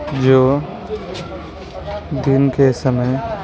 जो दिन के समय --